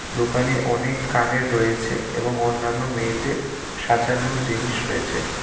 দোকানে অনেক কানের রয়েছে এবং অন্যান্য মেয়েদের সাজানোর জিনিস রয়েছে।